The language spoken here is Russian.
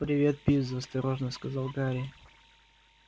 привет пивз осторожно сказал гарри